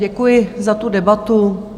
Děkuji za tu debatu.